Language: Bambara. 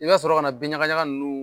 I ka sɔrɔ ka na bin ɲakaɲaka ninnu